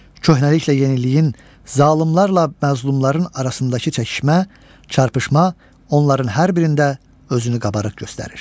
Köhnəliklə yeniliyin, zalımlarla məzlumların arasındakı çəkişmə, çarpışma onların hər birində özünü qabarıq göstərir.